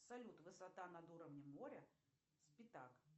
салют высота над уровнем моря с пятак